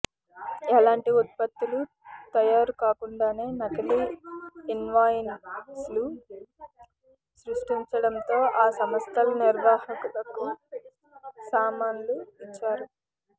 ఎలాంటి ఉత్పత్తులు తయారు కాకుండానే నకిలీ ఇన్వాయిస్లు సృష్టించడంతో ఆ సంస్థల నిర్వాహకులకు సమన్లు ఇచ్చారు